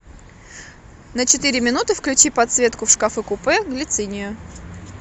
на четыре минуты включи подсветки в шкафу купе глицинию